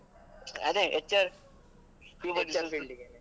ಅದೇ HR human resource field ಇಗೆ.